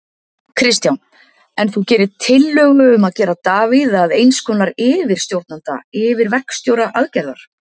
Kristján: En þú gerir tillögu um að gera Davíð að eins konar yfirstjórnanda, yfirverkstjóra aðgerðar?